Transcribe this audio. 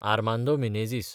Armando Menezes